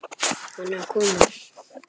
Hann er að koma!